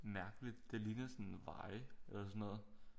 Mærkeligt det ligner sådan veje eller sådan noget